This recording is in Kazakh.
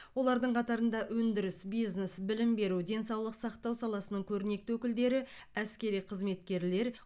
олардың қатарында өндіріс бизнес білім беру денсаулық сақтау саласының көрнекті өкілдері әскери қызметкерлер